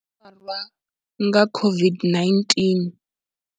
Farwa nga COVID-19.